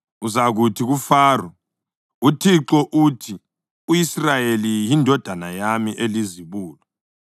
Uzakuthi kuFaro, ‘ uThixo uthi u-Israyeli yindodana yami elizibulo,